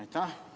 Aitäh!